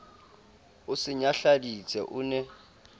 o se nyahladitse o ne